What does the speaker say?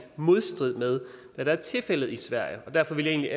modstrid med hvad der er tilfældet i sverige derfor ville jeg